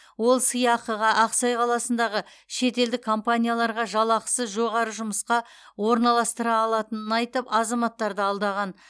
ол сыйақыға ақсай қаласындағы шетелдік компанияларға жалақысы жоғары жұмысқа орналастыра алатынын айтып азаматтарды алдаған